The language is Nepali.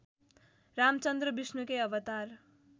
रामचन्द्र विष्णुकै अवतार